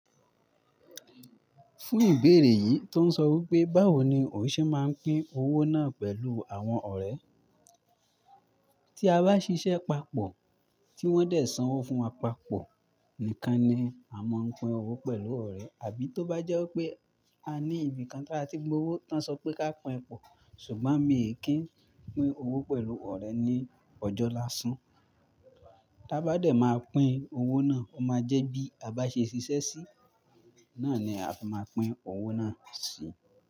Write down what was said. Fún ìbéèrè yìí tó ń sọ wí pé báwo ni ò ṣẹ́ máa ń pín owó náà pẹ̀lú àwọn ọ̀rẹ́. Tí a bá ṣiṣẹ́ papọ̀, tí wọ́n dẹ̀ sanwó fún wa papọ̀, nìkan ni a máa ń pín owó pẹ̀lú ọ̀rẹ́. Àbí tó bá jẹ́ pé a ní ibi kan tí a ti gbowó tí wọ́n sọ pé ká pín pọ̀, ṣùgbọ́n mi è kí ń pín owó pẹ̀lú ọ̀rẹ́ ní ọjọ́ lásán. Bá dé máa pín owó náà, ó máa jẹ́ bí a bá ṣe ṣiṣẹ́ sí i, náà ni a fi máa pín owó náà síi.